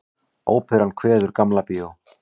Óperan kveður Gamla bíó